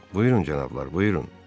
Buyurun cənablar, buyurun.